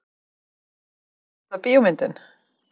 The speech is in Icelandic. Besta bíómyndin?